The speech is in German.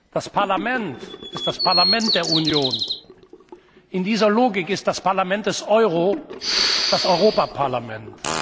Das Parlament ist das Parlament der Union. In dieser Logik ist das Parlament des Euro das Europaparlament.